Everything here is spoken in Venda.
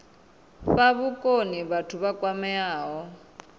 fha vhukoni vhathu vha kwameaho